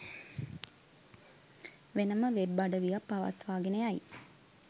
වෙනම වෙබ් අඩවියක් පවත්වාගෙන යයි